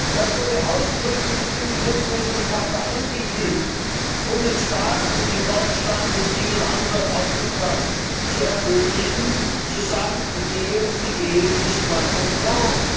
Das wurde ausdrücklich in die Grundrechtecharta eingefügt, um es Staaten wie Deutschland und vielen anderen, auch Ungarn, zu ermöglichen zu sagen Die Ehe ist die Ehe zwischen Mann und Frau.